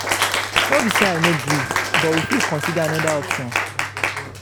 no be say i no gree but we fit consider another option.